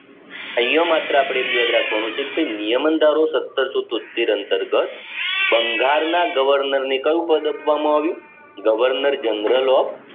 અહીંયા અપડે માત્ર એટલું યાદ રાખવાનું છે કે નિયમન ધારો સતરસો તોત્તેર અંતર્ગત બંગાળના governor ને કયું પદ આપવામાં આવ્યું governor general of